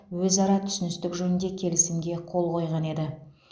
өзара түсіністік жөнінде келісімге қол қойған еді